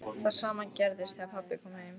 Það sama gerðist þegar pabbi kom heim.